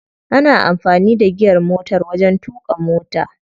Ana amfani da giyar motar wajen tuƙa mota.